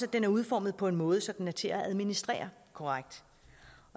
at den er udformet på en måde så den er til at administrere korrekt